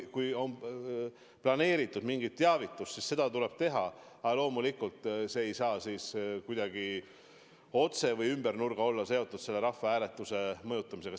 Kui on planeeritud mingi teavitus, siis seda tuleb teha, aga loomulikult see ei tohi kuidagi kas otse või ümber nurga olla seotud rahvahääletuse mõjutamisega.